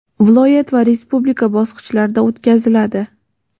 viloyat va respublika bosqichlarida o‘tkaziladi.